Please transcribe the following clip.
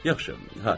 Yaxşı, hə.